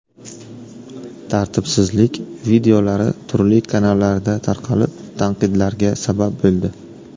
Tartibsizlik videolari turli kanallarda tarqalib, tanqidlarga sabab bo‘ldi.